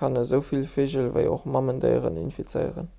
kann esouwuel vigel ewéi och mamendéieren infizéieren